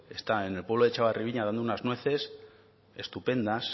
está en el pueblo de etxabarri ibiña dando unas nueces estupendas